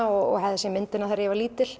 og hafði séð myndina þegar ég var lítil